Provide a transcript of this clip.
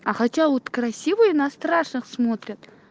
а хотя вот красивые на страшных смотрят